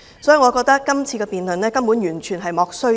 所以，我覺得這次辯論是根本完全"莫須有"。